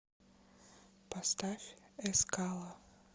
поставь эскала